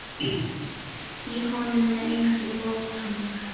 Í honum er enginn mótor.